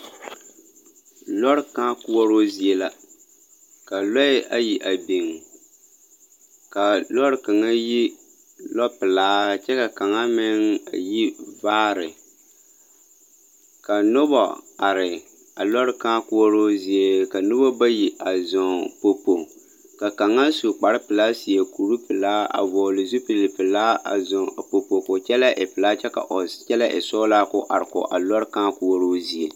Lɔrɛ kãã koɔroo zie la ka lɔɛ ayi a biŋ, kaa lɔre kaŋa yi lɔpelaa kyɛ ka kaŋa meŋ ayi vaare, ka noba are a lɔre kãã koɔroo zie. Ka noba bayi a zɔŋ popo, ka kaŋa su kparpelaa seɛ kur pelaa a vɔgele zupilpelaa a zɔŋ a kpokpo koo kyɛlɛɛ e pelaa kyɛ koo kyɛlee e sɔglaa koo are kɔge a lɔrɛ kãã koɔroo zie.